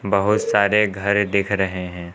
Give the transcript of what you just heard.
बहुत सारे घर दिख रहे हैं।